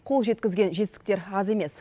қол жеткізген жетістіктер аз емес